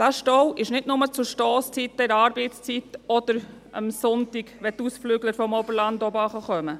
Diesen Stau gibt es nicht nur zur Stosszeit, während der Arbeitszeit oder am Sonntag, wenn die Ausflügler aus dem Oberland zurückkommen.